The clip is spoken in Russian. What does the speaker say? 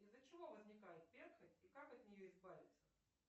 из за чего возникает перхоть и как от нее избавиться